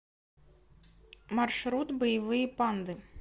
маршрут боевые панды